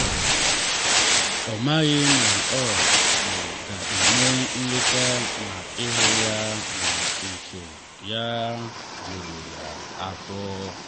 ọ maghị na ọ um ga-eme nleta ma ịhụ ya n’ụsọ ya juru ya afọ.